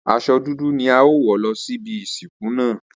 Aso̩ dudu ni a óò wò̩ lo̩ síbi ìsìnkú náà.